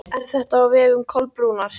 Er þetta á vegum Kolbrúnar?